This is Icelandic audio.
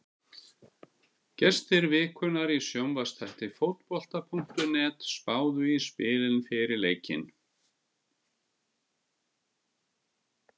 Gestir vikunnar í sjónvarpsþætti Fótbolta.net spáðu í spilin fyrir leikinn.